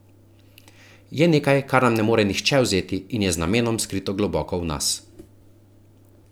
Je nekaj, kar nam ne more vzeti nihče in je z namenom skrito globoko v nas.